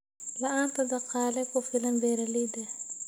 La'aanta dhaqaale ku filan beeralayda.